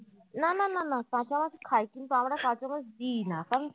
না না না না কাঁচা মাছ খায় কিন্তু আমরা কাঁচা মাছ দিই না কারণ